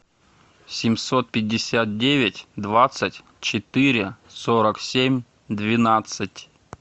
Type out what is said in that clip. семьсот пятьдесят девять двадцать четыре сорок семь двенадцать